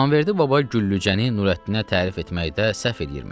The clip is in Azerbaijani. İmamverdi baba Güllücəni Nurəddinə tərif eləməkdə səhv eləyirmiş.